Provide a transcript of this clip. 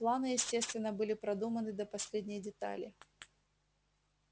планы естественно были продуманы до последней детали